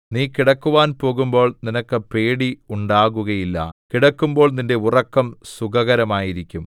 നീ കിടക്കുവാൻ പോകുമ്പോൾ നിനക്ക് പേടി ഉണ്ടാകുകയില്ല കിടക്കുമ്പോൾ നിന്റെ ഉറക്കം സുഖകരമായിരിക്കും